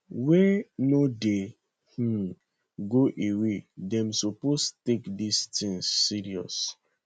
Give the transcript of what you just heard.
wey no dey um go away dem suppose take dis tins serious